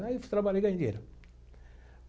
Aí fui trabalhei e ganhei dinheiro.